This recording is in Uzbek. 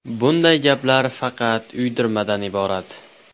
Bunday gaplar faqat uydirmadan iborat.